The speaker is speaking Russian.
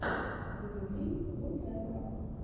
дмитрий лутсенко